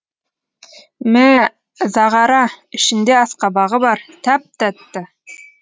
мә зағара ішінде асқабағы бар тәп тәтті